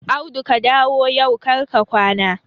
Audu ka dawo yau kar ka kwana!